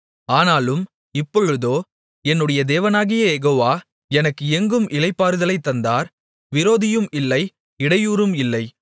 ஆனாலும் இப்பொழுதோ என்னுடைய தேவனாகிய யெகோவா எனக்கு எங்கும் இளைப்பாறுதலைத் தந்தார் விரோதியும் இல்லை இடையூறும் இல்லை